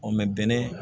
bɛnɛ